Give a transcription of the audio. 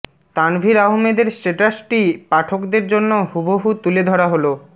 তানভীর আহমেদের স্টেটাসটি পাঠকদের জন্য হুবহু তুলে ধরা হলো